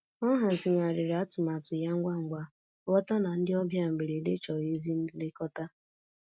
Ọ hazigharịrị atụmatụ ya ngwa ngwa, ghọta na ndị ọbịa mberede chọrọ ezi nlekọta.